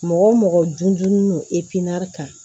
Mɔgɔ mɔgɔ dun kan